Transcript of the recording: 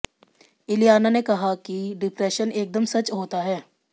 इलियाना ने कहा कि डिप्रेशन एकदम सच होता है